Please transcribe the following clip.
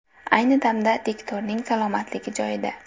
Ayni damda diktorning salomatligi joyida.